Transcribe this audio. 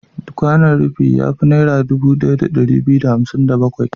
Kwanon rufi ya fi Naira dubu ɗaya da ɗari biyu da hamsin da bakwai.